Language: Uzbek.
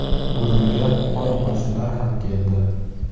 Gurungga qo‘ni-qo‘shnilar ham keldi.